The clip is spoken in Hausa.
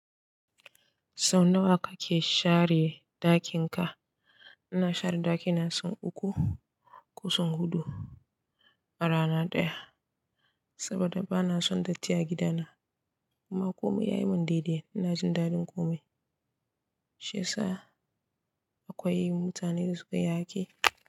Sau nawa kake share ɗakin ka? Ina share ɗaki na sau uku ko sau huɗu a rana ɗaya saboda bana son datti a gida na. Kuma komai ya yi mun daidai, ina jin daɗin komai. Shi ya sa akwai mutane da suka iya aiki.